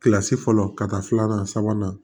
Kilasi fɔlɔ ka taa filanan sabanan